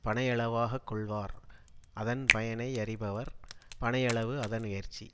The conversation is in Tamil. பனையளவாக கொள்வார் அதன் பயனை யறிபவர் பனையளவு அதனுயர்ச்சி